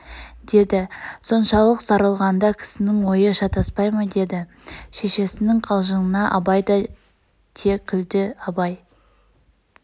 дед соншалық сарылғанда кісінің ойы шатаспай ма деді шешеснң қалжыңына абай да те күлді абай